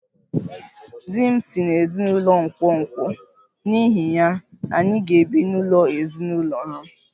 Di m si n'ezinụlọ nkwonkwo, n'ihi ya, anyị ga-ebi n'ụlọ ezinụlọ ha